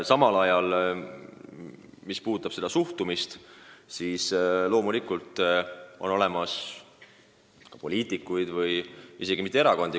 Mis puudutab seda suhtumist, siis loomulikult on olemas ka vastu olevaid poliitikuid, mitte ehk terveid erakondi.